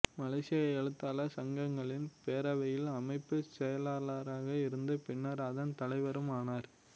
மலேசிய எழுத்தாளர் சங்கங்களின் பேரவையில் அமைப்புச் செயலாளராக இருந்து பின்னர் அதன் தலைவரும் ஆனார்